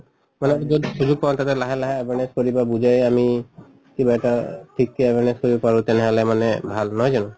মানে কওঁ তাতে লাহে লাহে মানে চলিবা বুজাই আমি কিবা এটা ঠিক কে আমি চলিব পাৰো তেনেহʼলে মানে ভাল. নহয় জানো?